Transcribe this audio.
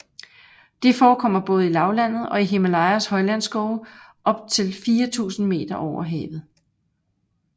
De forekommer både i lavlandet og i Himalayas højlandsskove op til 4000 meter over havet